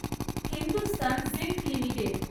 Hindustan zinc limited